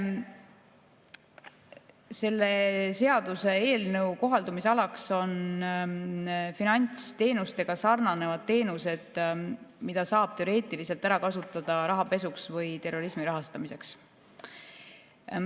Selle seaduseelnõu kohaldumisalaks on finantsteenustega sarnanevad teenused, mida saab teoreetiliselt ära kasutada rahapesuks või terrorismi rahastamiseks.